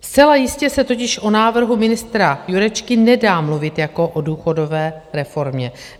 Zcela jistě se totiž o návrhu ministra Jurečky nedá mluvit jako o důchodové reformě.